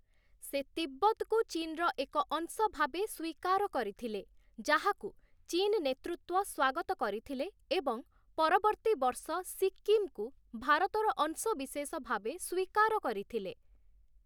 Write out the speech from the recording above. ସେ ତିବ୍ବତକୁ ଚୀନର ଏକ ଅଂଶ ଭାବେ ସ୍ୱୀକାର କରିଥିଲେ, ଯାହାକୁ ଚୀନ ନେତୃତ୍ୱ ସ୍ୱାଗତ କରିଥିଲେ ଏବଂ ପରବର୍ତ୍ତୀ ବର୍ଷ ସିକ୍କିମକୁ ଭାରତର ଅଂଶବିଶେଷ ଭାବେ ସ୍ୱୀକାର କରିଥିଲେ ।